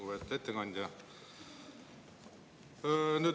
Lugupeetud ettekandja!